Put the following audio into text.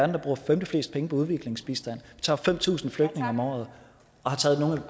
der bruger femteflest penge på udviklingsbistand vi tager fem tusind flygtninge om året og